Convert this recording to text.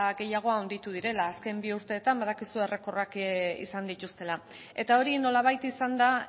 gehiago handitu direla azken bi urteetan badakizu errekorrak izan dituztela eta hori nolabait izan da